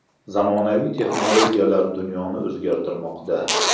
Zamonaviy texnologiyalar dunyoni o‘zgartirmoqda.